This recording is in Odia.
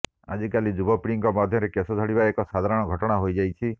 ଆଜିକାଲି ଯୁବପିଢିଙ୍କ ମଧ୍ୟରେ କେଶ ଝଡ଼ିବା ଏକ ସାଧାରଣ ଘଟଣା ହୋଇଯାଇଛି